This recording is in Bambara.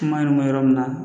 Kuma in mɛn yɔrɔ min na